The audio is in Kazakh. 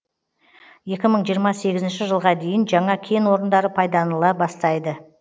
екі мың жиырма сегізінші жылға дейін жаңа кен орындары пайданала бастайды